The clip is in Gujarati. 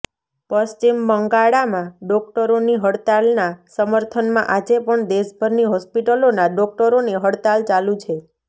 પશ્ચિમ બંગળામાં ડોક્ટરોની હડતાળના સમર્થનમાં આજે પણ દેશભરની હોસ્પિટલોના ડોક્ટરોની હડતાળ ચાલું છે